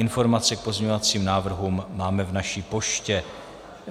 Informace k pozměňovacím návrhům máme v naší poště.